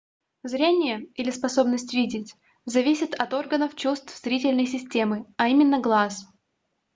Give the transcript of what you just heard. зрение или способность видеть зависит от органов чувств зрительной системы а именно глаз